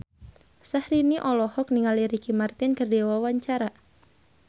Syahrini olohok ningali Ricky Martin keur diwawancara